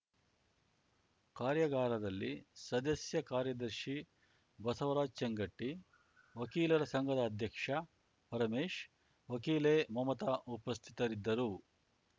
ಕಾರ್ಯಾಗಾರದಲ್ಲಿ ಸದಸ್ಯ ಕಾರ್ಯದರ್ಶಿ ಬಸವರಾಜ್‌ ಚೇಂಗಟ್ಟಿ ವಕೀಲರ ಸಂಘದ ಅಧ್ಯಕ್ಷ ಪರಮೇಶ್‌ ವಕೀಲೆ ಮಮತಾ ಉಪಸ್ಥಿತರಿದ್ದರು